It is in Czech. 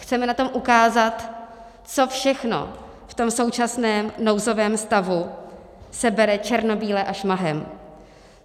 Chceme na tom ukázat, co všechno v tom současném nouzovém stavu se bere černobíle a šmahem.